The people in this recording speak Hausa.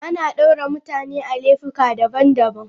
Ana daure mutane da laifuka daban-daban.